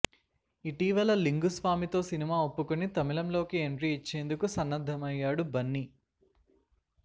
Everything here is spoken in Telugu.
ఇటీవల లింగు స్వామితో సినిమా ఒప్పుకొని తమిళంలోకి ఎంట్రీ ఇచ్చేందుకు సన్నద్దమయ్యాడు బన్నీ